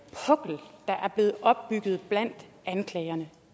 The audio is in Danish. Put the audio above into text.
er er blevet opbygget blandt anklagerne